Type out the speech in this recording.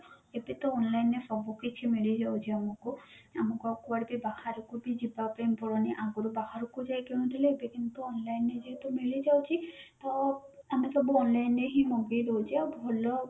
ଏବେ ତ online ଏର ସବୁ କିଛି ମିଳିଯାଉଛି ଆମକୁ ଆମକୁ ଆଉ କୁଆଡେ କୁ ବାହାରକୁ ବି ଯିବାପାୟନ ପଡୁନି ଆଗରୁ ବାହାରକୁ ଯାଇ କିଣୁଥିଲେ କିନ୍ତୁ online ରେ ଯେହେତୁ ମିଳିଯାଉଛି ତ ଆମେ ସବୁ online ରେ ହିଁ ମଗେଇ ଦଉଛେ ଆଉ ଭଲ